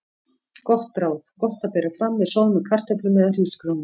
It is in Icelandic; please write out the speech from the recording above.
Gott ráð: Gott að bera fram með soðnum kartöflum eða hrísgrjónum.